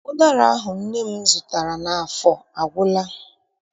Ụdara ahụ nne m zụtara n'afọ agwụla.